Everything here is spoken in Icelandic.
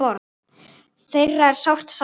Þeirra er sárt saknað.